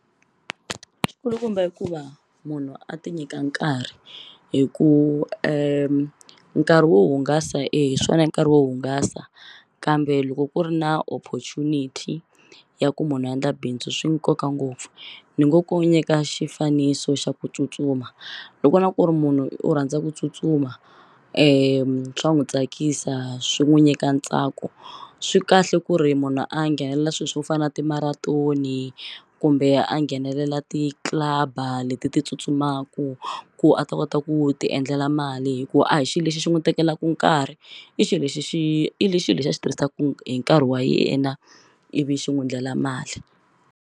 Xulukumba i ku va munhu a ti nyika nkarhi hi ku nkarhi wo hungasa e hi swona i nkarhi wo hungasa kambe loko ku ri na opportunity ya ku munhu a endla bindzu swi nkoka ngopfu ni ngo ku nyika xifaniso xa ku tsutsuma loko na ku ri munhu u rhandza ku tsutsuma swa n'wu tsakisa swi n'wu nyika ntsako swi kahle ku ri munhu a nghenelela swi swo fana timaratoni kumbe a nghenelela ti-club-a leti ti tsutsumaku ku a ta kota ku ti endlela mali hi ku a hi xi lexi xi n'wu tekelaku nkarhi i xi lexi xi i xi lexi a xi tirhisaku hi nkarhi wa yena ivi xi n'wu endlela mali.